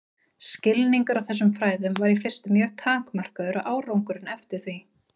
Skilningur á þessum fræðum var í fyrstu mjög takmarkaður og árangurinn eftir því.